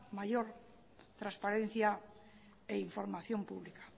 mayor transparencia en información pública